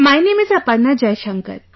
My name is Aparna Jaishankar